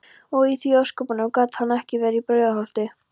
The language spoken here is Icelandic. Og því í ósköpunum gat hann ekki verið í Brautarholti?